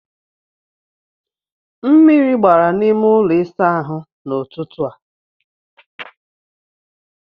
Mmiri gbara na n'ime ụlọ ịsa ahụ n'ọtụtụ a.